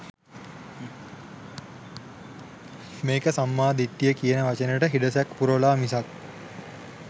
මේක සම්මා දිට්ඨිය කියන වචනයට හිඩැසක් පුරවලා මිසක්